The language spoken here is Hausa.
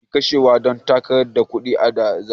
Jam'iya ke kashewa Dan takarar ta kudi da zabe